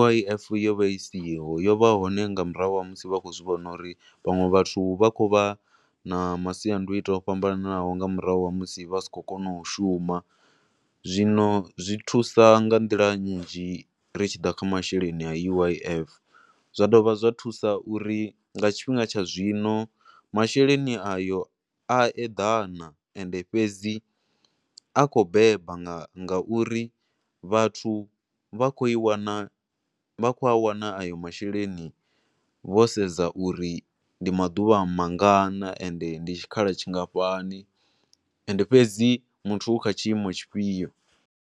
U_I_F yo vha i siho, yo vha hone nga murahu ha musi vha tshi khou zwi vhona uri vhanwe vhathu vha khou vha na masiandoitwa o fhambananaho nga murahu ha musi vha si khou kona u shuma, zwino zwi thusa nga nḓila nnzhi ri tsha ḓa kha masheleni a U_I_F, zwa dovha zwa thusa uri nga tshifhinga tsha zwino, masheleni a yo a eḓana, ende fhedzi a khou beba nga nga uri vhathu vha khou i wana, vha khou a wana a yo masheleni vho sedza uri mdi maḓuvha mangana ende ndi tshikhala tshingafhani ende fhedzi muthu u kha tshiimo tshi fhio.